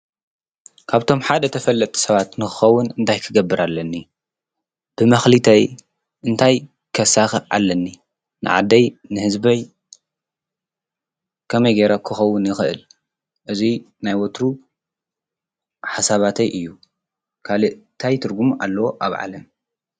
ካብቶም ሓደ ተፈለጥ ሰባት ንኽኸውን እንታይ ክገብር አለኒ፣ ብማኽሊተይ እንታይ ከሳኽዕ ኣለኒ፣ ንዓደይ ንሕዝበይ ከመይ ገይረ ክኸውን ይኽእል እዙይ ናይ ወትሩ ሓሳባተይ እዩ። ካልእ ታይ ትርጕም ኣለዎ ኣብ ዓለም።